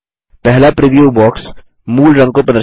पहला preview box मूल रंग को प्रदर्शित करता है